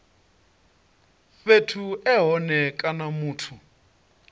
fhethu e hone kana muthu